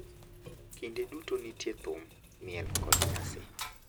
Kinde duto nitie thum, miel, kod nyasi.